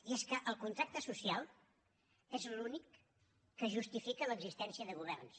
i és que el contracte social és l’únic que justifica l’existència de governs